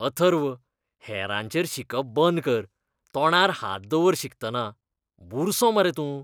अथर्व, हेरांचेर शिंकप बंद कर. तोंडार हात दवर शिंकतना. बुरसो मरे तूं.